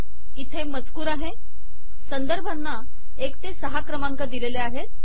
इथे मजकूर आहे संदर्भांना एक ते सहा क्रमांक दिलेले आहेत